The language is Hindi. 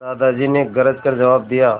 दादाजी ने गरज कर जवाब दिया